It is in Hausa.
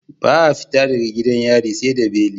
Ba a fita daga gidan yari seda beli